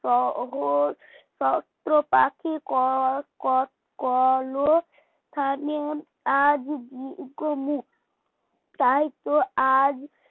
ত অঘোর কত পাখি কলম ম আজ তাইতো আজ